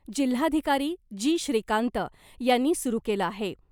जिल्हाधिकारी जी . श्रीकांत यांनी सुरु केलं आहे .